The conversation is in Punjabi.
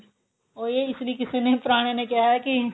ਉਹੀ ਇਸ ਲਈ ਕਿਸੇ ਨੇ ਪੁਰਾਣੇ ਨੇ ਕਿਹਾ ਹੈ ਕੀ